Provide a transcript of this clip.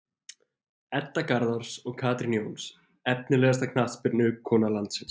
Edda Garðars og Katrín Jóns Efnilegasta knattspyrnukona landsins?